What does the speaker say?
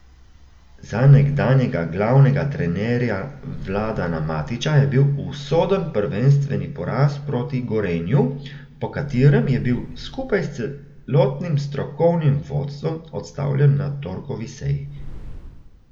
Za nekdanjega glavnega trenerja Vladana Matića je bil usoden prvenstveni poraz proti Gorenju, po katerem je bil, skupaj s celotnim strokovnim vodstvom, odstavljen na torkovi seji.